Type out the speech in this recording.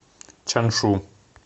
чаншу